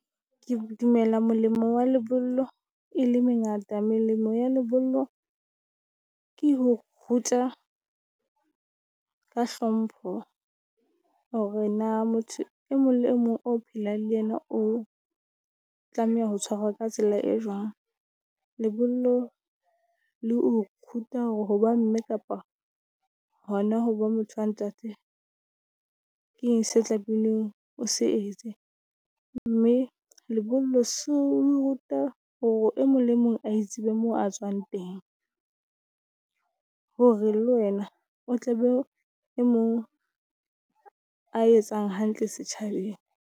Ke dumela molemo wa lebollo e le mengata. Melemo ya lebollo ke ho ruta ka hlompho. Hore na motho e mong le mong o phelang le yena o, tlameha ho tshwarwa ka tsela e jwang. Lebollo le o ruta ho ba mme, kapa hona hoba motho wa Ntate. Ke eng se tlameileng o se etse. Mme lebollo so o ruta hore o mong le mong a tsebe moo a tswang teng. Hore le wena o tla be e mong, a etsang hantle setjhabeng.